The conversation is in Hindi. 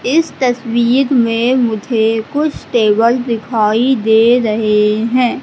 इस तस्वीर में मुझे कुछ टेबल दिखाई दे रहे हैं।